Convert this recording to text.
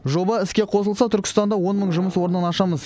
жоба іске қосылса түркістанда он мың жұмыс орнын ашамыз